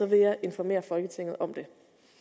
vil jeg informere folketinget om det